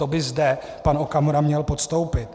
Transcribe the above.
To by zde pan Okamura měl podstoupit.